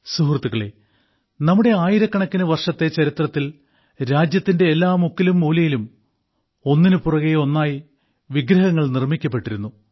സുഹൃത്തുക്കളേ ആയിരക്കണക്കിന് വർഷത്തെ നമ്മുടെ ചരിത്രത്തിൽ രാജ്യത്തിന്റെ മുക്കിലും മൂലയിലും ഒന്നിനുപുറകെ ഒന്നായി വിഗ്രഹങ്ങൾ നിർമ്മിക്കപ്പെട്ടിരുന്നു